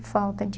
falta de